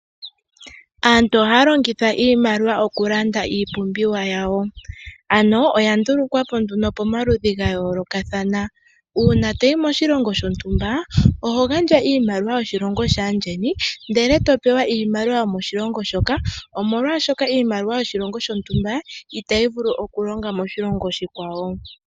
Aantu oha longitha iimaliwa oku landa iipumbiwa yawo. Ano oya ndulukwapo pamaludhi ga yolokathana. Una toyi moshilongo shotumba oho gandja iimaliwa yoshilongo shaandjeni ndele to pewa iimaliwa yomoshilongo moka. Omolwashoka iimaliwa yoshilongo shontumba itayi vulu oku longa moshilongo oshikwawo.